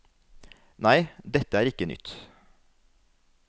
Nei, dette er ikke nytt.